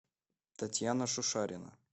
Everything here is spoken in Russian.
татьяна шушарина